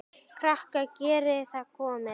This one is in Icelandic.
Krakkar geriði það komiði!